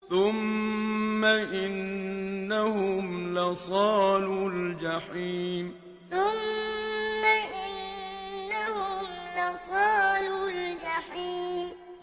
ثُمَّ إِنَّهُمْ لَصَالُو الْجَحِيمِ ثُمَّ إِنَّهُمْ لَصَالُو الْجَحِيمِ